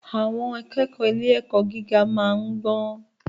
Àwọn akẹ́kọ̀ọ́ ilé-ẹ̀kọ́ gíga máa ń gbọ́n.